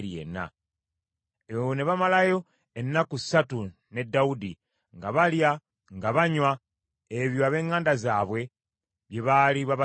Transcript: Eyo ne bamalayo ennaku ssatu ne Dawudi nga balya, nga banywa, ebyo ab’eŋŋanda zaabwe bye baali babasibiridde.